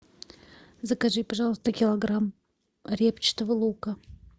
закажи пожалуйста килограмм репчатого лука